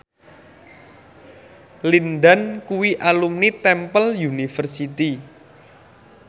Lin Dan kuwi alumni Temple University